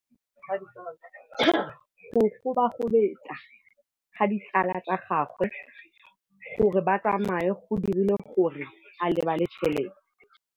Go gobagobetsa ga ditsala tsa gagwe, gore ba tsamaye go dirile gore a lebale tšhelete.